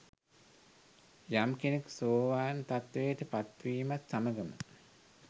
යම් කෙනෙක් සෝවාන් තත්ත්වයට පත්වීමත් සමඟම